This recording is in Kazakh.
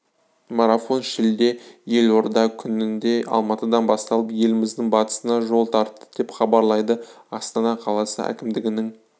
марафон шілде елорда күнінде алматыдан басталып еліміздің батысына жол тартты деп хабарлайды астана қаласы әкімдігінің